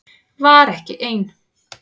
Var ekki ein